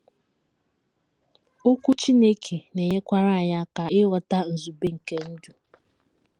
Okwu Chineke na - enyekwara anyị aka ịghọta nzube nke ndụ.